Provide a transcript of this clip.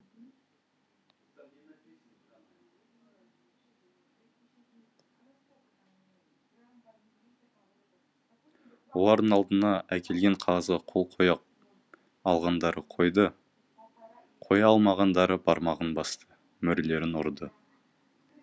олардың алдына әкелген қағазға қол қоя алғандары қойды қоя алмағандары бармағын басты мөрлерін ұрды